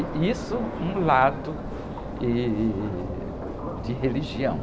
E isso, um lado, ih, de religião.